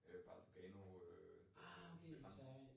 Øh bare Lugano øh det er sådan ved grænsen